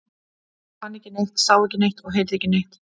Hún fann ekki neitt, sá ekki neitt og heyrði ekki neitt.